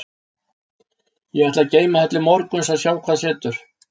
Ég ætla að geyma það til morguns og sjá hvað setur.